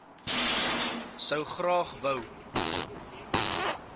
sou graag wou